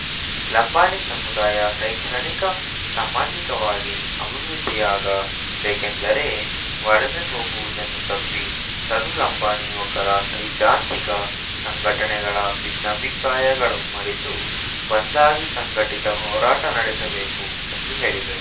ಲಂಬಾಣಿ ಸಮುದಾಯ ಶೈಕ್ಷಣಿಕ ಸಾಮಾಜಿಕವಾಗಿ ಅಭಿವೃದ್ಧಿಯಾಗ ಬೇಕೆಂದರೆ ವಲಸೆ ಹೋಗುವುದನ್ನು ತಪ್ಪಿಸಲು ಲಂಬಾಣಿ ಯುವಕರು ಸೈದ್ಧಾಂತಿಕ ಸಂಘಟನೆಗಳ ಭಿನ್ನಾಭಿಪ್ರಾಯಗಳು ಮರೆತು ಒಂದಾಗಿ ಸಂಘಟಿತ ಹೋರಾಟ ನಡೆಸಬೇಕು ಎಂದು ಹೇಳಿದರು